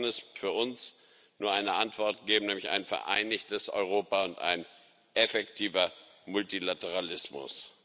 Darauf kann es für uns nur eine Antwort geben, nämlich ein vereinigtes Europa und einen effektiven Multilateralismus.